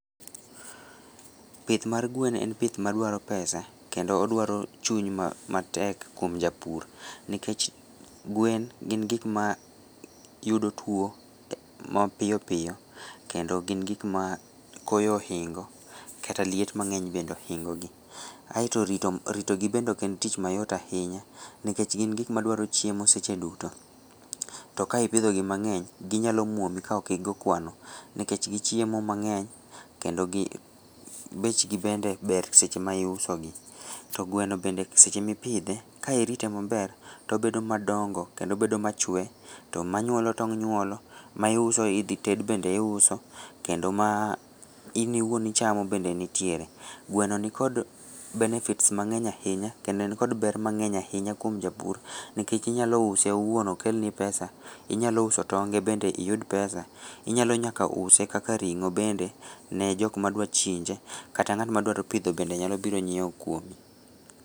Pith mar gwen en pith madwaro pesa, kendo odwaro chuny matek kwom japur, nikech gwen gin gikmayudo tuo mapiyopiyo kendo gin gikma koyo ohingo kata liet mang'eny bende ohingogi, aeto ritogi bende oken tich mayot ahinya, nikech gin gikmadwarochiemo seche duto, to ka ipidhogi mang'eny, ginyalomwomi ka okigoo kwano nikech gichiemo mang'eny, kendo bechgi bende ber seche ma iusogi, to gweno bende seche mipidhe ka irite maber to obedo madongo kendo obedo machwe to manyuolo tong' nyuolo to ma iuso idhited be iuso, kendo ma in iwuon ichamo bende nitiere, gweno nikod benefits mang'eny ahinya kendo en kod ber mang'eny ahinya kwom japur , nikech inyalouse owuon okelni pesa, inyalouso tonge bende iyud pesa, Inyalo nyaka use kaka ring'o bende ne jokma dwachinje, kata ng'atma dwaropidho bende nyalobiro nyieo kwomi.